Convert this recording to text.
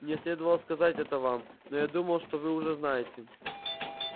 мне следовало сказать это вам но я думал что вы уже знаете